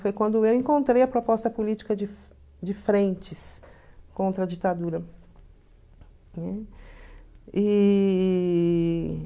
Foi quando eu encontrei a proposta política de de frentes contra a ditadura, né? E...